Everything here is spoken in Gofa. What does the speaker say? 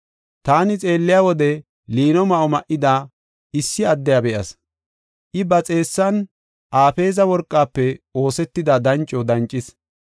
Taani xeelliya wode liino ma7o ma7ida issi addiya be7as. I ba xeessan Afeeza worqafe oosetida danco dancis.